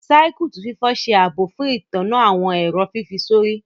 Circuit fífọ ṣe ààbò fún ìtanná àwọn èrò fífi sórí.